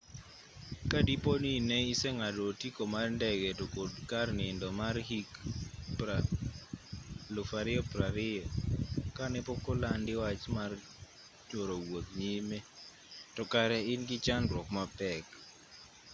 ka dipo ni ne iseng'ado otiko mar ndege to kod kar nindo mar hik 2020 kane pokolandi wach mar choro wuoth nyime to kare in gi chandruok mapek